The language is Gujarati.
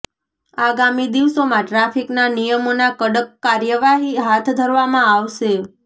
આગામી દિવસોમાં ટ્રાફિકના નિયમોના કડક કાર્યવાહી હાથ ધરવામાં આવશે